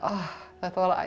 þetta var